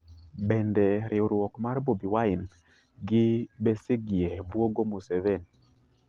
Bende riwruok mar Bobi Wine gi Besigye bwogo Museveni?